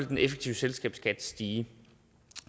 den effektive selskabsskat stige